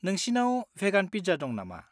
नोंसिनाव भेगान पिज्जा दं नामा?